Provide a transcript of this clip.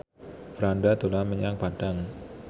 Franda dolan menyang Padang